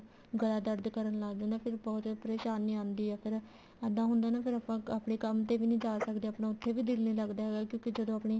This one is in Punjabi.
ਗਲਾ ਦਰਦ ਕਰਨ ਲੱਗ ਜਾਂਦਾ ਫ਼ੇਰ ਬਹੁਤ ਪਰੇਸ਼ਾਨੀ ਆਉਂਦੀ ਆ ਫ਼ੇਰ ਇੱਦਾਂ ਹੁੰਦਾ ਨਾ ਫ਼ੇਰ ਆਪਾਂ ਆਪਣੇ ਕੰਮ ਤੇ ਵੀ ਨੀ ਜਾ ਸਕਦੇ ਆਪਣਾ ਉੱਥੇ ਵੀ ਦਿਲ ਨੀ ਲੱਗਦਾ ਹੈਗਾ ਕਿਉਂਕਿ ਜਦੋਂ ਆਪਣੀ